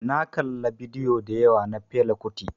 Na kala bidiyo dayawa na Fela kuti.